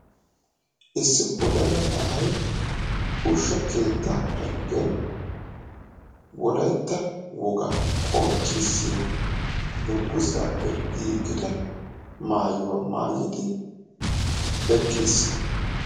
Issi wodala na'ay ushshaa keettaa penggen wolaytta wogaa qonccissiya dungguzzappe giigida maayuwa maayidi eqqiis.